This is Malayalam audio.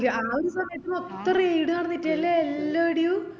ആ ഒരു സമയത്ത് ഒത്തിരി raid നടന്നിറ്റില്ലെ ലെ എല്ലാടെയും